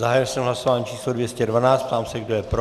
Zahájil jsem hlasování číslo 212, ptám se, kdo je pro.